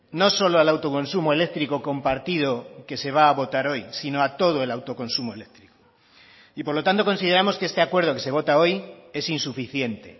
no solo al autoconsumo eléctrico compartido que se va a votar hoy sino a todo el autoconsumo eléctrico y por lo tanto consideramos que este acuerdo que se vota hoy es insuficiente